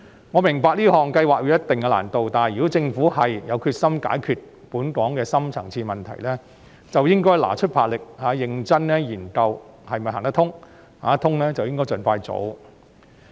我明白這項計劃會有一定的難度，但如果政府有決心解決本港的深層次問題，便應拿出魄力，認真研究是否行得通，如是便應該盡快做。